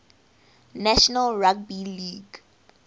national rugby league